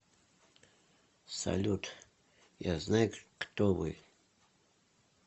салют я знаю кто вы